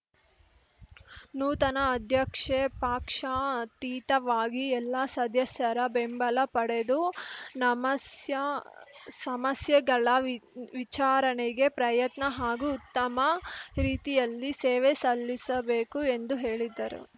ನೂತನ ಅಧ್ಯಕ್ಷೆ ಪಕ್ಷಾತೀತವಾಗಿ ಎಲ್ಲ ಸದಸ್ಯರ ಬೆಂಬಲ ಪಡೆದು ನಮಸ್ಯೆ ಸಮಸ್ಯೆಗಳ ವಿಚಾರಣೆಗೆ ಪ್ರಯತ್ನ ಹಾಗೂ ಉತ್ತಮ ರೀತಿಯಲ್ಲಿ ಸೇವೆ ಸಲ್ಲಿಸಬೇಕು ಎಂದು ಹೇಳಿದರು